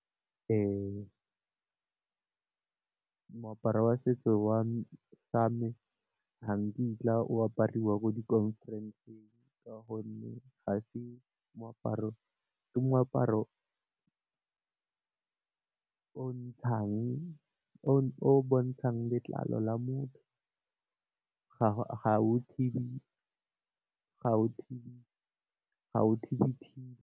Moaparo wa setso sa me ga nkitla o apariwa ko di khonferenseng ka gonne gase moaparo., ke moaparo o ntshang, o bontshang letlalo la motho ga o thibi.